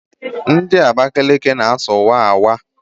Ndị Abakaliki na-asụ waawa